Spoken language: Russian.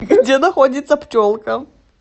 где находится пчелка